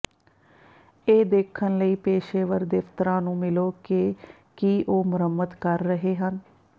ਇਹ ਦੇਖਣ ਲਈ ਪੇਸ਼ੇਵਰ ਦਫਤਰਾਂ ਨੂੰ ਮਿਲੋ ਕਿ ਕੀ ਉਹ ਮੁਰੰਮਤ ਕਰ ਰਹੇ ਹਨ